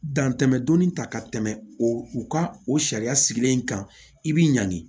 Dan tɛmɛ donnin ta ka tɛmɛ o u ka o sariya sigilen kan i bi ɲangi